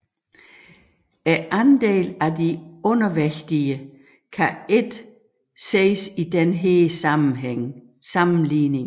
Andelen af de undervægtige kan ikke ses i denne sammenligning